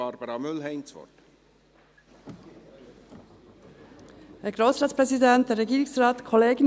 Ich gebe für die glp das Wort an Barbara Mühlheim.